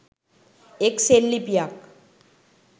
එක් සෙල්ලිපියක්